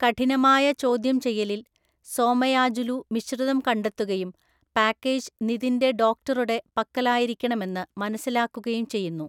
കഠിനമായ ചോദ്യം ചെയ്യലിൽ, സോമയാജുലു മിശ്രിതം കണ്ടെത്തുകയും പാക്കേജ് നിതിന്റെ ഡോക്ടറുടെ പക്കലായിരിക്കണമെന്ന് മനസ്സിലാക്കുകയും ചെയ്യുന്നു.